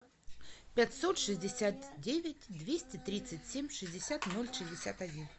пятьсот шестьдесят девять двести тридцать семь шестьдесят ноль шестьдесят один